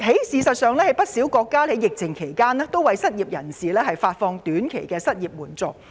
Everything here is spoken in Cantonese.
事實上，不少國家在疫情期間均為失業人士提供短期失業援助。